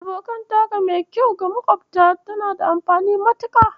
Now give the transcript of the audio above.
Abokantaka mai kyau ga makofta tana da amfani matuƙa.